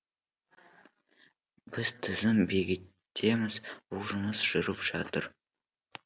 біз тізім бекітеміз бұл жұмыс жүріп жатыр